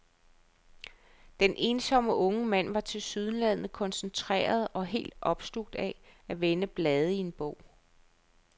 Den ensomme unge mand var tilsyneladende koncentreret og helt opslugt af at vende blade i en bog.